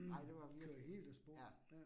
Ej det var virkelig, ja